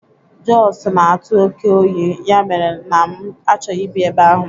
Josu n'atu oké oyi, ya mere na m achọghị ịbi ebe ahu